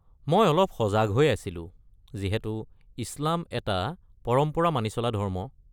মই অলপ সজাগ হৈ আছিলোঁ যিহেতু ইছলাম এটা পৰম্পৰা মানি চলা ধৰ্ম।